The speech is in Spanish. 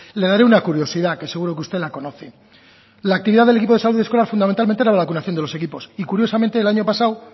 le daré una curiosidad que seguro que usted la conoce la actividad del equipo de salud escolar fundamentalmente era la vacunación de los equipos y curiosamente el año pasado